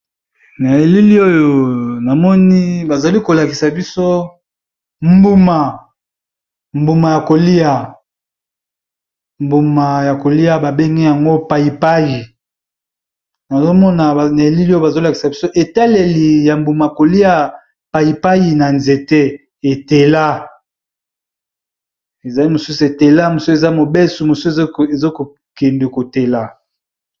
Na bilili oyo bazali kolakisa biloko mbuma oyo babengi payipayi ezali bongo na nzete